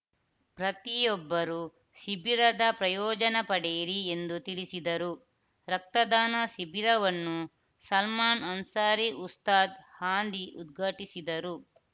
ಪ್ರತಿಯೊಬ್ಬರೂ ಶಿಬಿರದ ಪ್ರಯೋಜನ ಪಡೆಯಿರಿ ಎಂದು ತಿಳಿಸಿದರು ರಕ್ತದಾನ ಶಿಬಿರವನ್ನು ಸಲ್ಮಾನ್‌ ಅನ್ಸಾರಿ ಉಸ್ತಾದ್‌ ಹಾಂದಿ ಉದ್ಘಾಟಿಸಿದರು